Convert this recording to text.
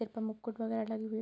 एक पे मुकुट वगेरा लगी हुई --